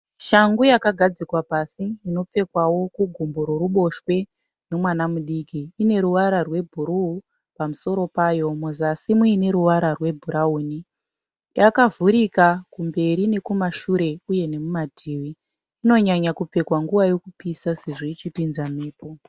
Shangu yakagadzikwa pasi inopfekwawo kugumbo roruboshwe nomwana mudiki. Ineruvara rwebhuruu pamusoro payo muzasi muine ruvara rwebhurauni. Yakavhurika kumberi nekumashure uye nemumativi. Inonyanya kupfekwa nguva yekupisa sezvo ichipinza mhepo.